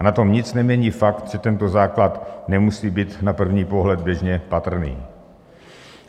A na tom nic nemění fakt, že tento základ nemusí být na první pohled běžně patrný.